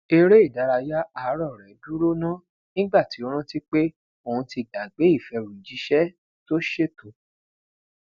ere idaraya aarọ rẹ duro na nigba ti o ranti pe oun ti gbagbe ifẹrujiṣẹ to ṣeto